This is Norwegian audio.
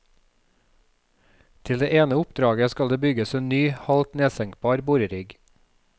Til det ene oppdraget skal det bygges en ny, halvt nedsenkbar borerigg.